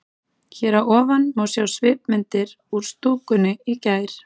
Hér að ofan má sjá svipmyndir úr stúkunni í gær.